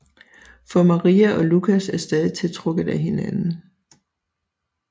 For Maria og Lucas er stadig tiltrukket af hinanden